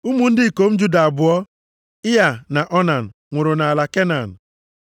Ụmụ ndị ikom Juda abụọ, Ịa na Onan, nwụrụ nʼala Kenan.